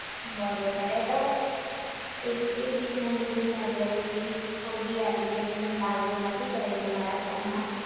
બરોબર એ તો હું એ એ બીક ના લીધે જ મે અત્યાર સુધી કોઈ બી એપ્લિકેશન ડાઉનલોડ નથી કરી મે મારા ફોન માં